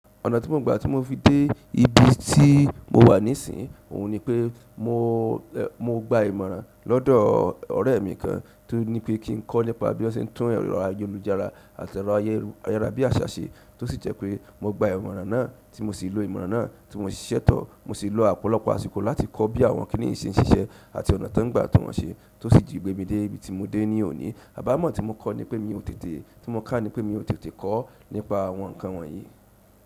Ọ̀nà tí mo gba tí mo fi dé ibi tí mowa nisin oun nipe mogba ìmọ̀ràn lọdọ ọrẹ mi kan tonipe kí n kọ nípa biwọn ṣe ń tún ẹrọ ayélujára àti ẹrọ ayárabíàṣá ṣe, tó sì jẹ pé mogba ìmọ̀ràn náà tí mo sì lò ìmọ̀ràn náà tí mo ṣiṣẹ́ tọ̀. Mosi ọ̀pọ̀lọpọ̀ àsìkò láti kọ àwọn kíni yìí ṣe ń sisẹ àti ọ̀nà tan ń gba tún wọn ṣe, tó sì gbémi dé ibi tí mo dé ní òní. Àbámọ̀ tí mo kọ́ ni pé mi ò tètè, tí mo kà nipé mi ò tètè kọ́ nípa àwọn ǹnkan wọ̀nyí.